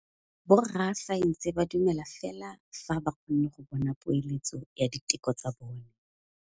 Borra saense ba dumela fela fa ba kgonne go bona poeletsô ya diteko tsa bone.